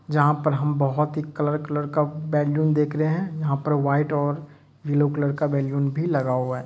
जहाँ पर हम बोहोत ही कलर कलर का बलून देख रहे हैं यहाँ पर व्हाइट और ब्लू कलर बलून भी लगा हुआ है।